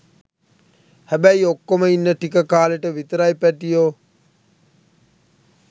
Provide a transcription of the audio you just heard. හැබැයි ඔක්කොම ඉන්න ටික කාලෙට විතරයි පැටියෝ.